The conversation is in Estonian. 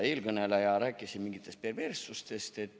Eelkõneleja rääkis siin mingitest perverssustest.